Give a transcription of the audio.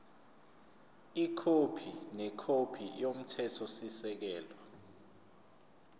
ikhophi nekhophi yomthethosisekelo